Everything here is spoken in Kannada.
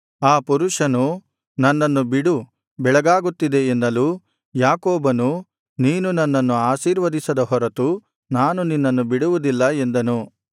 ಆ ಪುರುಷನು ನನ್ನನ್ನು ಬಿಡು ಬೆಳಗಾಗುತ್ತಿದೆ ಎನ್ನಲು ಯಾಕೋಬನು ನೀನು ನನ್ನನ್ನು ಆಶೀರ್ವದಿಸದ ಹೊರತು ನಾನು ನಿನ್ನನ್ನು ಬಿಡುವುದಿಲ್ಲ ಎಂದನು